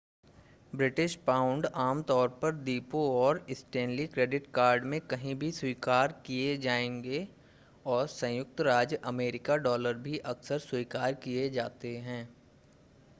British pound आमतौर पर द्वीपों और स्टेनली क्रेडिट कार्ड में कहीं भी स्वीकार किए जाएंगे और संयुक्त राज्य अमेरिका डॉलर भी अक्सर स्वीकार किए जाते हैं